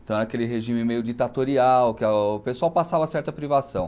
Então, era aquele regime meio ditatorial, que o pessoal passava certa privação.